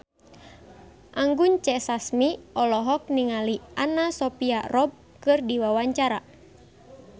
Anggun C. Sasmi olohok ningali Anna Sophia Robb keur diwawancara